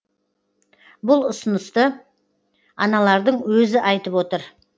бұл ұсынысты аналардың өзі айтып отыр